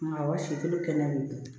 Maa si kolo kɛnɛ bɛ yen